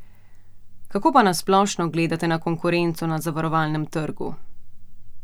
Kako pa na splošno gledate na konkurenco na zavarovalnem trgu?